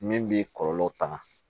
Min b'i kɔlɔlɔ tanga